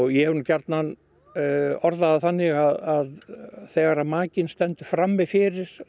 ég hef nú gjarnan orðað það þannig að þegar að makinn stendur frammi fyrir